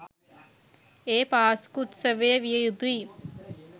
ඒ පාස්කු උත්සවය විය යුතුයි.